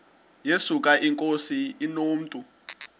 yesuka inkosi inomntu